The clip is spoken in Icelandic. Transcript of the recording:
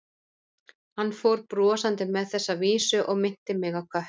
Hann fór brosandi með þessa vísu og minnti mig á kött.